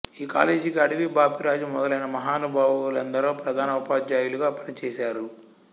ఈ కాలేజికి అడవి బాపిరాజు మొదలైన మహానుభావు లెందరో ప్రధాన ఉపాధ్యాయులుగా పనిచేశారు